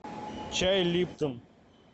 чай липтон